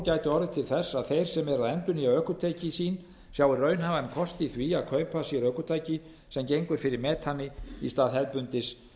gæti orðið til þess að þeir sem endurnýja ökutæki sín sjái raunhæfan kost í því að kaupa sér ökutæki sem gengur fyrir metani í stað hefðbundins